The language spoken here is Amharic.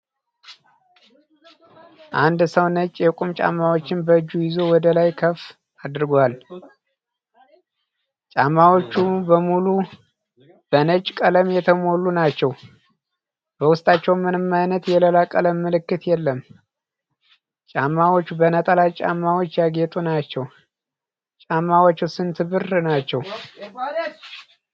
አንድ ሰው ነጭ የቁም ጫማዎችን በእጁ ይዞ ወደ ላይ ከፍ አድርጓል። ጫማዎቹ በሙሉ በነጭ ቀለም የተሞሉ ናቸው፤ በውስጣቸውም ምንም ዓይነት የሌላ ቀለም ምልክት የለም። ጫማዎቹ በነጠላ ጫማዎች ያጌጡ ናቸው። ጫማው ስንት ብር ናቸው?